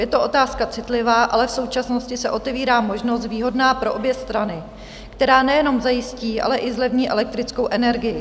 Je to otázka citlivá, ale v současnosti se otevírá možnost výhodná pro obě strany, která nejenom zajistí, ale i zlevní elektrickou energii.